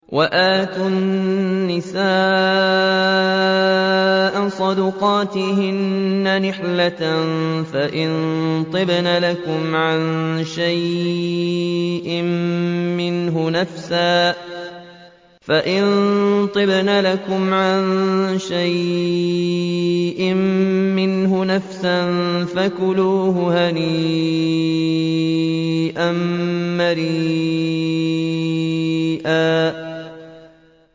وَآتُوا النِّسَاءَ صَدُقَاتِهِنَّ نِحْلَةً ۚ فَإِن طِبْنَ لَكُمْ عَن شَيْءٍ مِّنْهُ نَفْسًا فَكُلُوهُ هَنِيئًا مَّرِيئًا